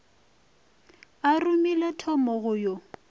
a romile thomo go yo